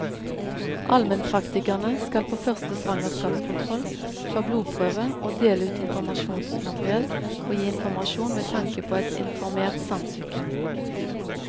Almenpraktikerne skal på første svangerskapskontroll ta blodprøve og dele ut informasjonsmateriell og gi informasjon med tanke på et informert samtykke.